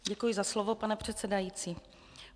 Děkuji za slovo, pane předsedající.